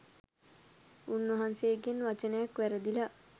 උන්වහන්සේ ගෙන් වචනයක් වැරදිලා